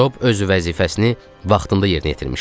Job öz vəzifəsini vaxtında yerinə yetirmişdi.